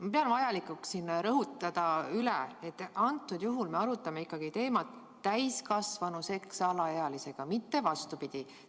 Ma pean vajalikuks üle rõhutada, et me arutame siin teemat, mis puudutab täiskasvanu seksi alaealisega, mitte vastupidi.